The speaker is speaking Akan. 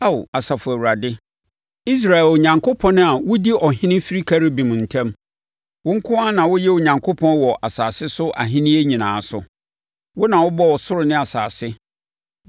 “Ao, Asafo Awurade, Israel Onyankopɔn a wodi ɔhene firi Kerubim ntam, wo nko ara na woyɛ Onyankopɔn wɔ asase so ahennie nyinaa so. Wo na wobɔɔ ɔsoro ne asase.